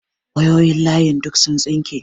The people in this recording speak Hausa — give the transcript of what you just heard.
Wayoyin layin duk sun tsinke.